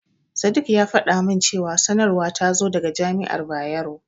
Sadik ya faɗa min cewa sanarwar ta zo daga Jami'ar Bayero.